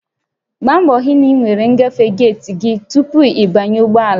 Gbaa mbọ hụ na ị nwere ngafe geeti gị tupu ị banye ụgbọ ala